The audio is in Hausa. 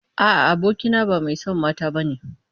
A'a, abokina ba mai son mata bane.